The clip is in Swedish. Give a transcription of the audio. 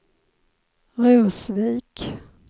Rosvik